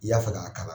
I y'a fɛ k'a kalan